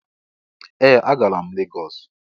Ee! Agara m Lagos.